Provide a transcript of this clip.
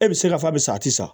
E bɛ se ka fa bɛ sa a tɛ sa